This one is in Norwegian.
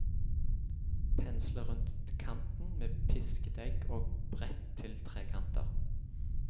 Pensle rundt kanten med pisket egg og brett til trekanter.